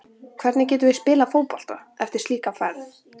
Hvernig getum við spilað fótbolta eftir slíka ferð?